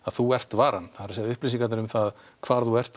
þú ert varan upplýsingarnar um hvar þú ert